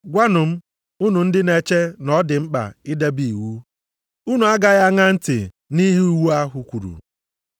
Gwanụ m, unu ndị na-eche na ọ dị mkpa idebe iwu, unu agaghị aṅaa ntị na ihe iwu ahụ kwuru?